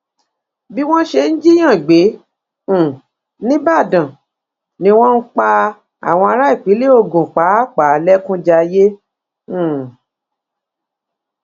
bí wọn ṣe ń jiyàn gbé um nìbàdàn ni wọn ń pa àwọn ará ìpínlẹ ogun pàápàá lẹkún jayé um